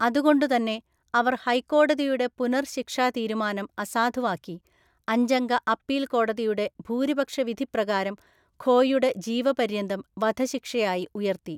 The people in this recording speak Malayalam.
അതുകൊണ്ടുതന്നെ അവർ ഹൈക്കോടതിയുടെ പുനർ ശിക്ഷാ തീരുമാനം അസാധുവാക്കി, അഞ്ചംഗ അപ്പീൽ കോടതിയുടെ ഭൂരിപക്ഷ വിധി പ്രകാരം ഖോയുടെ ജീവപര്യന്തം വധശിക്ഷയായി ഉയർത്തി.